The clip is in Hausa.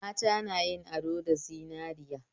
Mata na yin ado da zinariya